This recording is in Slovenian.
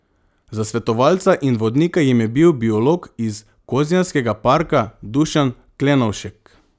Za svetovalca in vodnika jim je bil biolog iz Kozjanskega parka Dušan Klenovšek.